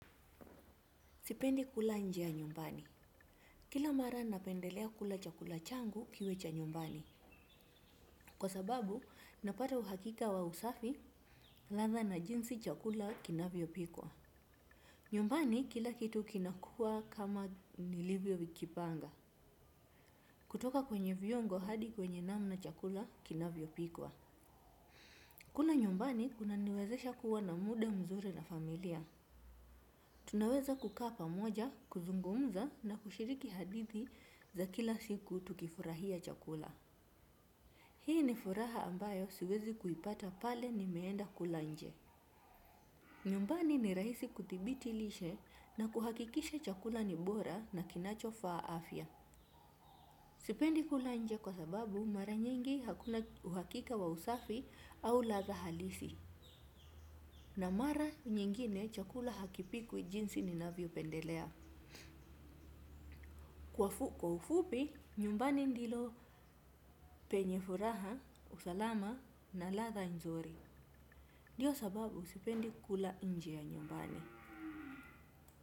Sipendi kula nje ya nyumbani. Kila mara napendelea kula chakula changu kiwe cha nyumbani. Kwa sababu, napata uhakika wa usafi, ladha na jinsi chakula kinavyopikwa. Nyumbani, kila kitu kinakuwa kama nilivyokipanga. Kutoka kwenye viungo hadi kwenye namna chakula kinavyopikwa. Kula nyumbani kunaniwezesha kuwa na muda mzuri na familia. Tunaweza kukaa pamoja, kuzungumza na kushiriki hadithi za kila siku tukifurahia chakula. Hii ni furaha ambayo siwezi kuipata pale nimeenda kula nje. Nyumbani ni rahisi kuthibiti lishe na kuhakikisha chakula ni bora na kinachofaa afya. Sipendi kula nje kwa sababu mara nyingi hakuna uhakika wa usafi au ladha halisi. Na mara nyingine chakula hakipikwi jinsi ninavyopendelea. Kwa ufupi, nyumbani ndilo penye furaha, usalama na ladha nzuri. Ndiyo sababu sipendi kula nje ya nyumbani.